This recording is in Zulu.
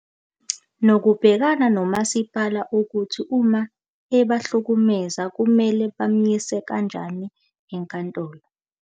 Nokubhekana no Masipala ukuthi uma ebahlukumeza, kumele bamyise kanjani e Nkantolo.